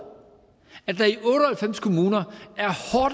halvfems kommuner